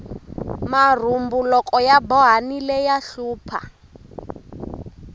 marhumbu loko ya bohanile ya hlupha